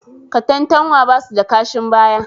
Katantanwa ba su da kashin baya